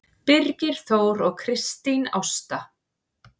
Birgir Þór og Kristín Ásta.